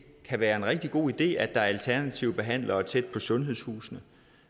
kan være en rigtig god idé at der er alternative behandlere tæt på sundhedshusene